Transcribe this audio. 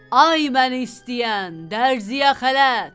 Ay məni istəyən, dərzəyə xələt.